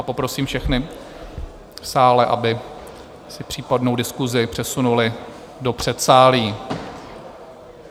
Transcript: A poprosím všechny v sále, aby si případnou diskusi přesunuli do předsálí.